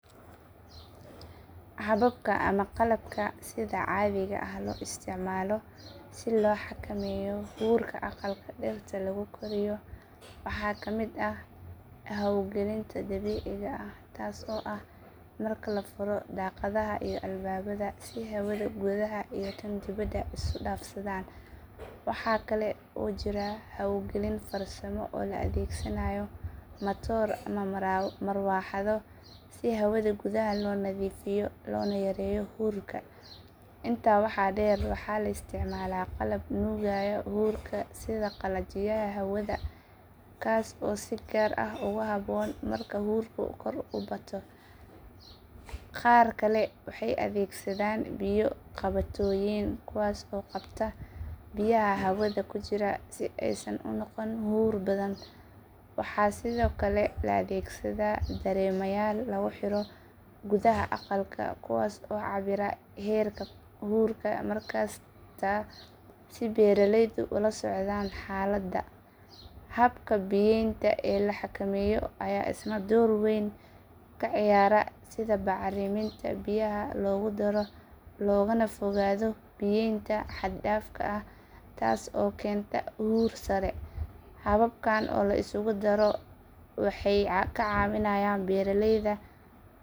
Hababka ama qalabka sida caadiga ah loo isticmaalo si loo xakameeyo huurka aqalka dhirta lagu koriyo waxaa ka mid ah hawo gelinta dabiiciga ah taas oo ah marka la furo daaqadaha iyo albaabada si hawada gudaha iyo tan dibadda isu dhaafsadaan. Waxaa kale oo jira hawo gelin farsamo oo la adeegsanayo matooro ama marawaxado si hawada gudaha loo nadiifiyo loona yareeyo huurka. Intaa waxaa dheer waxaa la isticmaalaa qalab nuugaya huurka sida qalajiyaha hawada kaas oo si gaar ah ugu habboon marka huurka kor u bato. Qaar kale waxay adeegsadaan biyo-qabatooyin kuwaas oo qabta biyaha hawada ku jira si aysan u noqon huur badan. Waxaa sidoo kale la adeegsadaa dareemayaal lagu xiro gudaha aqalka kuwaas oo cabbira heerka huurka markasta si beeraleydu ula socdaan xaaladda. Habka biyeynta ee la xakameeyo ayaa isna door weyn ka ciyaara sida bacriminta biyaha loogu daro loogana fogaado biyeynta xad dhaafka ah taas oo keenta huur sare.